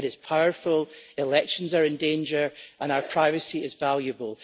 it is powerful, elections are in danger and our privacy is valuable.